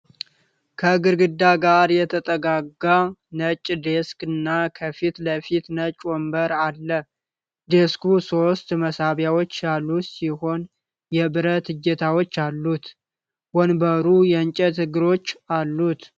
ከግድግዳ ጋር የተጠጋጋ ነጭ ዴስክ እና ከፊት ለፊቱ ነጭ ወንበር አለ። ዴስኩ ሶስት መሳቢያዎች ያሉት ሲሆን የብረት እጀታዎች አሉት። ወንበሩ የእንጨት እግሮች አሉት።